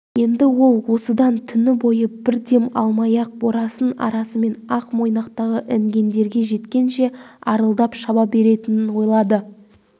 енді ол осыдан түні бойы бір дем алмай ақ борасын арасымен ақ-мойнақтағы інгендерге жеткенше арылдап шаба беретінін ойлады